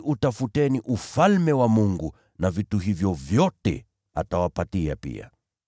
Bali utafuteni Ufalme wa Mungu, na haya yote atawapa pia.